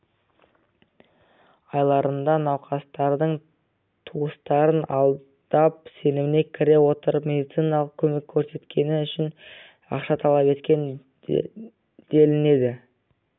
айларында науқастардың туыстарын алдап сеніміне кіре отырып медициналық көмек көрсеткені үшін ақша талап еткен делінеді